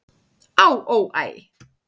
"""Á, ó, æ"""